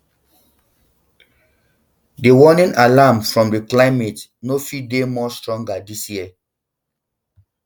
di warning alarms from di climate no fit dey more stronger dis year